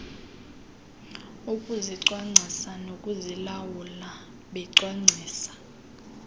ukuzicwangcisa nokuzilawula becwangcisa